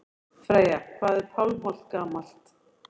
Freyja: Hvað er Pálmholt gamalt?